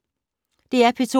DR P2